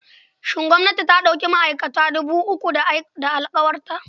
Shin gwamnati ta ɗauki ma'aikata dubu uku da da alƙawarta?